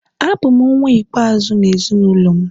Abụ m nwa ikpeazụ n’ezinụlọ m